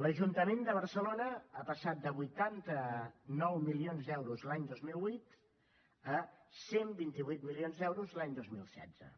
l’ajuntament de barcelona ha passat de vuitanta nou milions d’euros l’any dos mil vuit a cent i vint vuit milions d’euros l’any dos mil setze